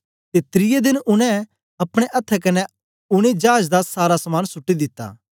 ते त्रिऐ देन उनै अपने अथ्थें कन्ने उनै चाज दा सारा समान सुट्टी दिता